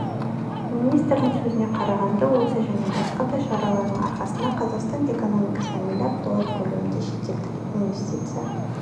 министрдің сөзіне қарағанда осы және басқа да шаралардың арқасында қазақстан экономикасына млрд доллар көлемінде шетелдік инвестиция